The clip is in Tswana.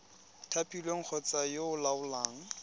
thapilweng kgotsa yo o laolang